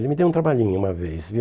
Ele me deu um trabalhinho uma vez, viu?